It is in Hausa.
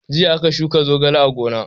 Jiya aka shuka zogale a gona.